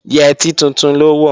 Yẹtí tuntun ló wọ̀